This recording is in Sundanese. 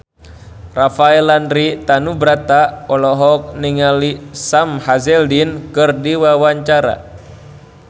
Rafael Landry Tanubrata olohok ningali Sam Hazeldine keur diwawancara